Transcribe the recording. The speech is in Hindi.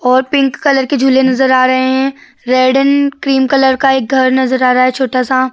और पिंक कलर की झूले नज़र आ रहे हैं। रेड एण्ड क्रीम कलर का एक घर नज़र आ रहा है छोटा सा।